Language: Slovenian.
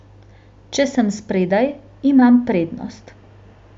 Če sem spredaj, imam prednost.